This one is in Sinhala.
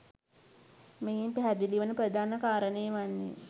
මෙයින් පැහැදිලි වන ප්‍රධාන කාරණය වන්නේ